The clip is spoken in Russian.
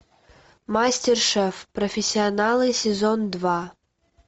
мастер шеф профессионалы сезон два